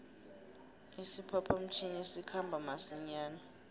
isiphapha mtjhini sikhamba masinjana